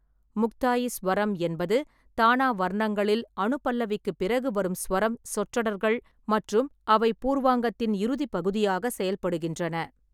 முக்தாயி சுவரம் என்பது தானா வர்ணங்களில் அனுபல்லவிக்குப் பிறகு வரும் சுவரம் சொற்றொடர்கள் மற்றும் அவை பூர்வாங்கத்தின் இறுதி பகுதியாக செயல்படுகின்றன.